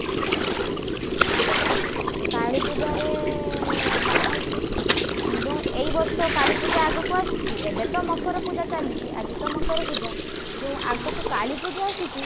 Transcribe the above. କାଳୀପୂଜାରେ ବାଣ ଯଉ ଏଇ ବର୍ଷ କାଳୀପୂଜା ଆଗକୁ ଆସୁଛି ଏବେ ତ ମକର ପୂଜା ଚାଲିଛି ଆଜି ତ ମକର ପୂଜା ଯଉ ଆଗକୁ କାଳୀପୂଜା ଆସୁଛି